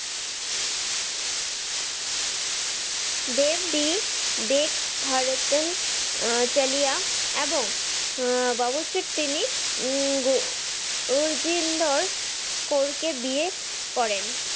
দেব ডি ডেক ভারতন আহ চালিয়া এবং তিনি আরজিন্দর কর কে বিয়ে করেন।